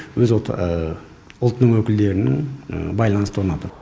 өз ұлт ұлтының өкілдерінің байланысты орнату